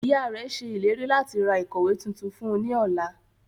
Iyạ rẹ ṣe ileri lati ra ikọwe tuntun fun u ni ọla.